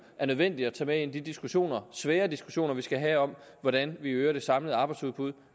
er nødvendigt at tage med ind i de diskussioner svære diskussioner vi skal have om hvordan vi øger det samlede arbejdsudbud